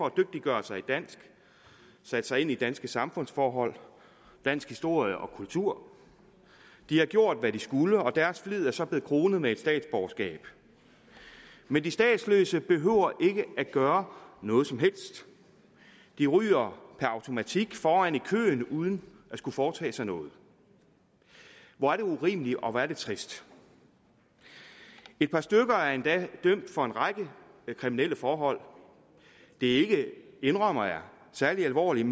at dygtiggøre sig i dansk sat sig ind i danske samfundsforhold dansk historie og kultur de har gjort hvad de skulle og deres flid er så blevet kronet med et statsborgerskab men de statsløse behøver ikke at gøre noget som helst de ryger per automatik foran i køen uden at skulle foretage sig noget hvor er det urimeligt og hvor er det trist et par stykker er endda dømt for en række kriminelle forhold det er ikke indrømmer jeg særlig alvorlige